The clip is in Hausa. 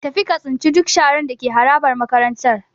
Tafi ka tsince duk sharar da ke harabar makarantar.